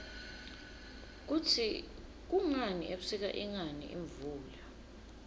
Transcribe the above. kutsi kungani ebusika ingani imvula